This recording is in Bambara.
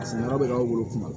A sigiyɔrɔ bɛ k'aw bolo kuma